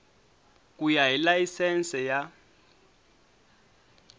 ku ya hi layisense ya